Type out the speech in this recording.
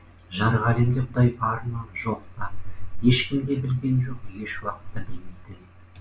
жарық әлемде құдай бар ма жоқ па ешкім де білген жоқ еш уақытта білмейді де